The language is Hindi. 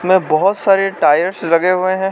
बहोत सारे टायर्स लगे हुए हैं।